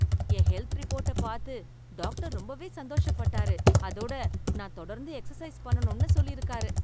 என் health ரிப்போர்ட்ட பார்த்து doctor ரொம்பவே சந்தோஷப்பட்டாரு, அதோட நான் தொடர்ந்து எக்சர்சைஸ் பண்ணணும்னு சொல்லிருக்காரு.